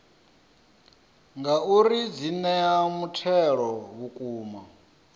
ngauri dzi ea mutheo vhukuma